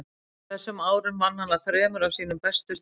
á þessum árum vann hann að þremur af sínum mestu stórvirkjum